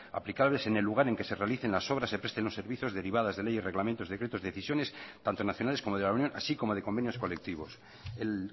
aplicables en el lugar en que se realicen las obras se presten los servicios derivadas de leyes reglamentos decretos decisiones tanto nacionales como de la unión así como de convenios colectivos el